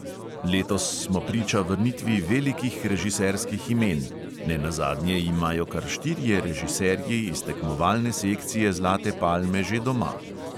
Letos smo priča vrnitvi velikih režiserskih imen; nenazadnje imajo kar štirje režiserji iz tekmovalne sekcije zlate palme že doma.